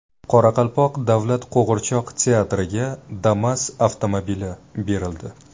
Qoraqalpoq davlat qo‘g‘irchoq teatriga Damas avtomobili berildi.